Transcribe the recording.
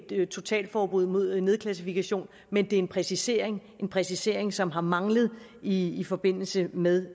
et totalforbud mod nedklassifikation men en præcisering en præcisering som har manglet i i forbindelse med